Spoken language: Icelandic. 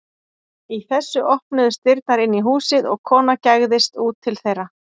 Í þessu opnuðust dyrnar inn í húsið og kona gægðist út til þeirra.